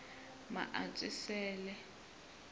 maantswisele